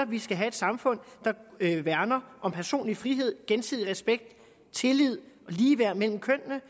vi skal have et samfund der værner om personlig frihed gensidig respekt tillid og ligeværd mellem kønnene